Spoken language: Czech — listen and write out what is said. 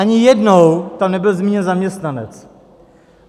Ani jednou tam nebyl zmíněn zaměstnanec.